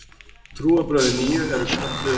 Trúarbrögðin nýju eru kölluð